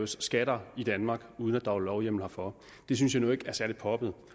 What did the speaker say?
skatter i danmark uden at der er lovhjemmel herfor det synes jeg nu ikke er særlig poppet